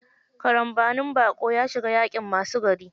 Karambanin baƙo, ya shiga yaƙin masu gari.